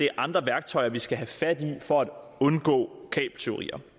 er andre værktøjer vi skal have fat i for at undgå kabeltyverier